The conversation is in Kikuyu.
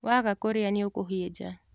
Waga kũrĩa nĩũkũhĩnja.